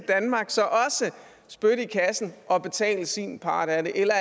spytte i kassen og betale sin part af det eller